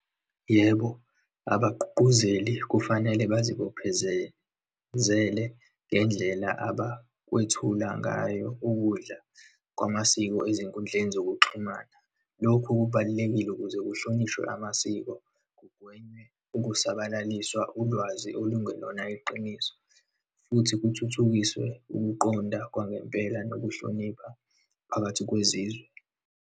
Yebo, abagqugquzeli kufanele bazibophe ngendlela abakwethula ngayo ukudla kwamasiko ezinkundleni zokuxhumana. Lokhu kubalulekile ukuze kuhlonishwe amasiko, kugwenywe ukusabalaliswa ulwazi olungelona iqiniso, futhi kuthuthukiswe ukuqonda kwangempela, nokuhlonipha phakathi kwezizwe.